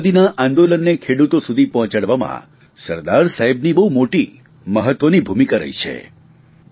આઝાદીના આંદોલનને ખેડૂતો સુધી પહોંચાડવામાં સરદાર સાહેબની બહુ મોટી મહત્વની ભૂમિકા રહી છે